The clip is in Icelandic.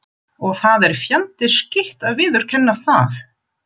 Og það er fjandi skítt að viðurkenna það.